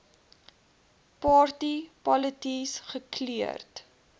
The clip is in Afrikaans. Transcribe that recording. party polities gekleurd